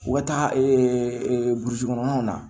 U ka taa burusi kɔnɔnaw na